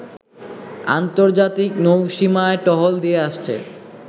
আন্তর্জাতিক নৌসীমায় টহল দিয়ে আসছে